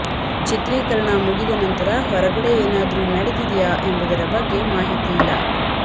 ಚಿತ್ರೀಕರಣ ಮುಗಿದ ನಂತರ ಹೊರಗಡೆ ಏನಾದ್ರು ನಡೆದಿದೆಯಾ ಎಂಬುದರ ಬಗ್ಗೆ ಮಾಹಿತಿ ಇಲ್ಲ